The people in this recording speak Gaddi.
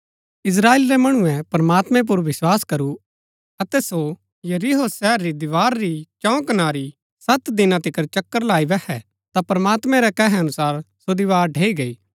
इस्त्राएल रै मणुऐ प्रमात्मैं पुर विस्वास करू अतै सो यरीहो शहर री दीवार री चौं कनारी सत दिना तिकर चक्‍कर लाई बैहै ता प्रमात्मैं रै कहे अनुसार सो दीवार ढैई गैई